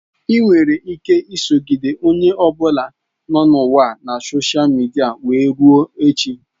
Ị nwere ike isogide onye ọ bụla nọ n'ụwa na sosha midia wee rue echi.